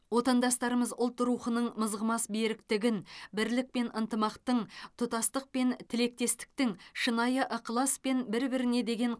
отандастарымыз ұлт рухының мызғымас беріктігін бірлік пен ынтымақтың тұтастық пен тілектестіктің шынайы ықылас пен бір біріне деген